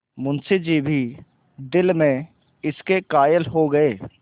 मुंशी जी भी दिल में इसके कायल हो गये